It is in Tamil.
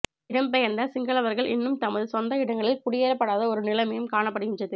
இடம்பெயர்ந்த சிங்களவர்கள் இன்னும் தமது சொந்த இடங்களில் குடியேற்றப்படாத ஒரு நிலைமையும் காணப்படுகின்றது